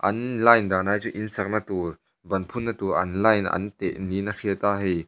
an line danah hi chuan in sakna tur ban phunna tur an line an teh niin a hriat a hei--